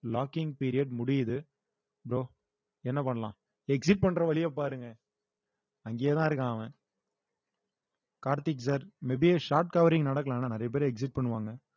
locking period முடியுது bro என்ன பண்ணலாம் exit பண்ற வழியைப் பாருங்க அங்கேயே தான் இருக்கான் அவன் Karthik sir may be short covering நடக்கல ஆனா நிறைய பேர் exit பண்ணுவாங்க